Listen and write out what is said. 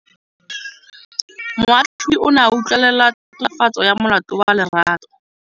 Moatlhodi o ne a utlwelela tatofatsô ya molato wa Lerato.